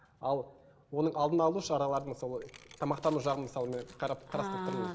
ал оның алдын алу шараларын мысалы тамақтану жағын мысалы мен қарап қарастырып тұрмын